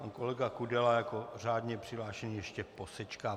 Pan kolega Kudela jako řádně přihlášený ještě posečká.